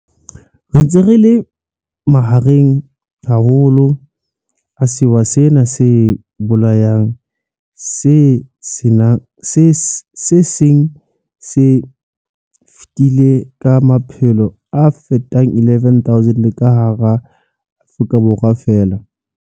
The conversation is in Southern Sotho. Re ntse re le mahareng haholo a sewa sena se bolayang se seng se fetile ka maphelo a fetang 11 000 ka hara Afrika Borwa feela.